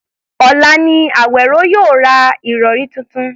Ọ̀la ni Àwèró yóò ra ìrọ̀rí tuntun